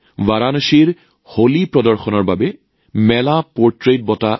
বাৰাণসীত হোলী প্ৰদৰ্শনৰ বাবে অনুপম সিং জীয়ে লাভ কৰে মেলা পৰ্ট্ৰেইটছ বঁটা